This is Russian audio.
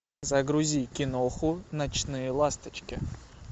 загрузи киноху ночные ласточки